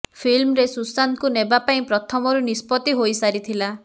ଫିଲ୍ମରେ ସୁଶାନ୍ତଙ୍କୁ ନେବା ପାଇଁ ପ୍ରଥମରୁ ନିଷ୍ପତ୍ତି ହୋଇ ସାରିଥିଲା